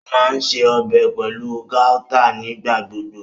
O maa ǹṣe ọbẹ pẹlu gauta nigbagbogbo.